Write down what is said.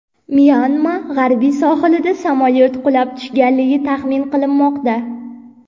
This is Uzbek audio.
Myanma g‘arbiy sohilida samolyot qulab tushganligi taxmin qilinmoqda.